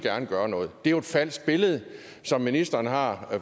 gøre noget det er jo et falsk billede som ministeren har